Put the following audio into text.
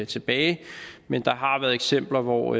tilbage men der har været eksempler hvor